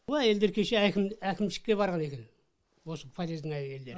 бұл әйелдер кеше әкімшікке барған екен осы подъездің әйелдері